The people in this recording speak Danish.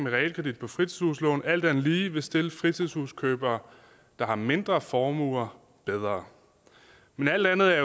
realkredit på fritidshuslån alt andet lige vil stille fritidshuskøbere der har mindre formuer bedre men alt andet er